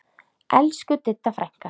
Elsku Didda frænka.